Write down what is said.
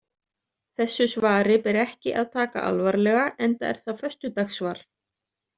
Þessu svari ber ekki að taka alvarlega enda er það föstudagssvar.